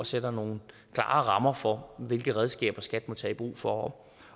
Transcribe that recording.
sætter nogle klare rammer for hvilke redskaber skat må tage i brug for